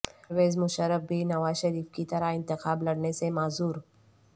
پرویز مشرف بھی نواز شریف کی طرح انتخاب لڑنے سے معذور